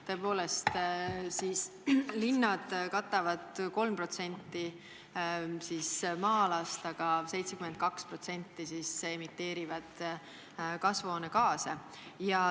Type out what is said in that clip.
Tõepoolest, linnad katavad 3% maa-alast, aga emiteerivad 72% kasvuhoonegaasidest.